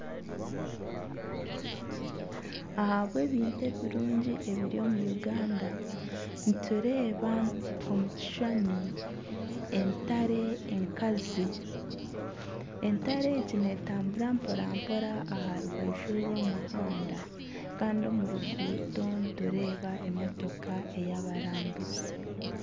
Ahabwebintu ebirungi ebiri omu Uganda nitureeba omu kishushani entare enkazi entare egi neetambura mporampora aha rubaju rw'omuhanda kandi omu ruguuto nitureeba emotoka eyabarambuzi.